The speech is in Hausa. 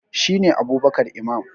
shi ne Abubkar Imam